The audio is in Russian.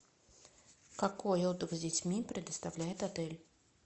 какой отдых с детьми предоставляет отель